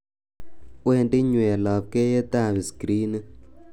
wendi nyweny' labkeiyet ab skrinit